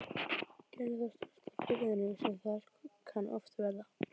Gerði þá stórt á firðinum sem þar kann oft verða.